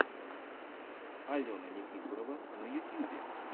алена никифорова на ютьюбе